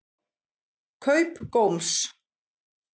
Kaup Góms